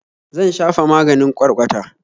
Zan shafa maganin ƙwarƙwata